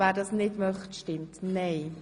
wer dies nicht möchte, stimmt nein.